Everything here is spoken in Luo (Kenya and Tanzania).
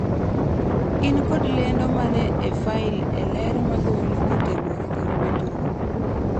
in kod lendo mane e fail e ler magolo kotenore kod winjruok